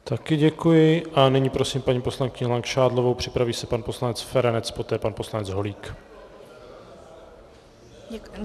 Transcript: Také děkuji a nyní prosím paní poslankyni Langšádlovou, připraví se pan poslanec Feranec, poté pan poslanec Holík.